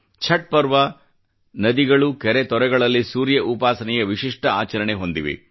ಛಟ್ ಪರ್ವ ನದಿಗಳು ಕೆರೆ ತೊರೆಗಳಲ್ಲಿ ಸೂರ್ಯ ಉಪಾಸನೆಯ ವಿಶಿಷ್ಟ ಆಚರಣೆ ಹೊಂದಿವೆ